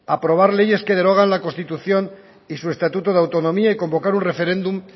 aprobar leyes que derogan la constitución y su estatuto de autonomía y convocar un referéndum